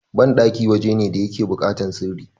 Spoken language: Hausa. banɗaki waje ne da yake bukatar sirri